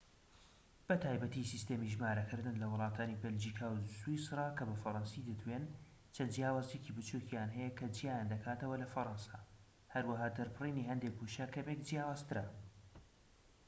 بە تایبەتی سیستەمی ژمارەکردن لە وڵاتانی بەلجیکا و سویسرا کە بە فەرەنسی دەدوێن چەند جیاوازیەکی بچوکیان هەیە کە جیایان دەکاتەوە لە فەرەنسا هەروەها دەربڕینی هەندێك وشە کەمێك جیاوازترە